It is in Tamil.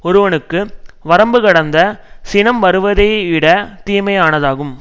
ஒருவனுக்கு வரம்பு கடந்த சினம் வருவதைவிடத் தீமையானதாகும்